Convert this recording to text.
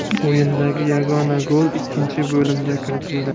O‘yindagi yagona gol ikkinchi bo‘limda kiritildi.